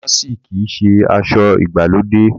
Dàmáàsì kìí ṣe aṣọ ìgbàlódé